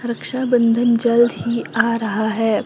रक्षाबंधन जल्द ही आ रहा है।